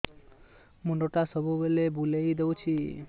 ମୁଣ୍ଡଟା ସବୁବେଳେ ବୁଲେଇ ଦଉଛି